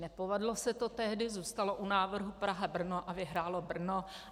Nepovedlo se to tehdy, zůstalo u návrhu Praha - Brno a vyhrálo Brno.